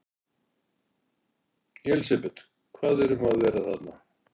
Elísabet, hvað er um að vera þarna?